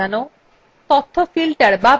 column অনুসারে সাজানো